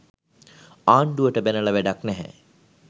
ආණ්ඩුවට බැනල වැඩක් නැහැ